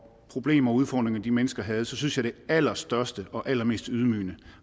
problemer og udfordringer de mennesker havde synes jeg det allerstørste og allermest ydmygende